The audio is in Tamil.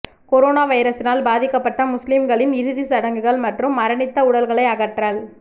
கொரோனா வைரஸினால் பாதிக்கப்பட்ட முஸ்லிம்களின் இறுதிச் சடங்குகள் மற்றும் மரணித்த உடல்களை அகற்றல்